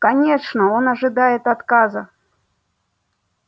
конечно он ожидает отказа